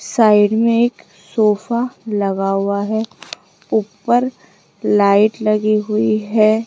Side में एक sofa लगा हुआ है ऊपर लाइट लगी हुई है।